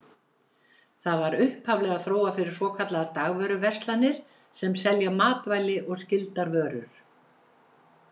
Það var upphaflega þróað fyrir svokallaðar dagvöruverslanir, sem selja matvæli og skyldar vörur.